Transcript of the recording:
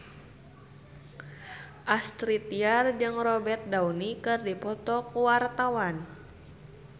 Astrid Tiar jeung Robert Downey keur dipoto ku wartawan